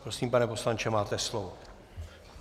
Prosím, pane poslanče, máte slovo.